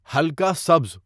ہلکا سبز